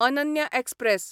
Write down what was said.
Ananya express